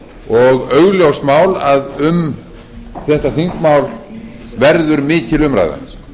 og augljóst mál að um þetta þingmál verður mikil umræða